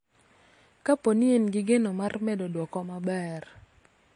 Ka po ni en gi geno mar medo duoko maber.